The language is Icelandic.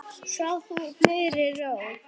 Sof þú í blíðri ró.